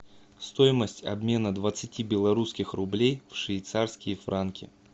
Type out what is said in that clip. стоимость обмена двадцати белорусских рублей в швейцарские франки